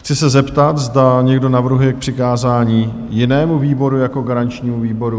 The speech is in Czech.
Chci se zeptat, zda někdo navrhuje k přikázání jinému výboru jako garančnímu výboru?